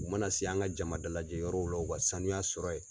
U mana se an ka jama dalajɛ yɔrɔw la u ka sanuya sɔrɔ ye.